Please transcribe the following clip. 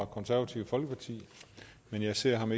konservative folkeparti men jeg ser ham